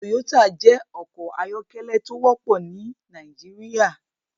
Toyota jẹ́ ọkọ̀ ayọ́kẹ́lẹ́ tó wọ́pọ̀ ní Nàìjíríà.